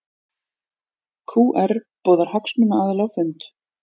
OR boðar hagsmunaaðila á fund